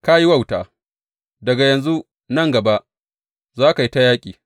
Ka yi wauta, daga yanzu nan gaba za ka yi ta yaƙi.